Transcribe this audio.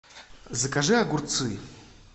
закажи огурцы